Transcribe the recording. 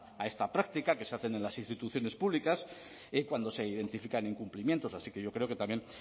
a esta práctica que se hace en las instituciones públicas cuando se identifican incumplimientos así que yo creo que también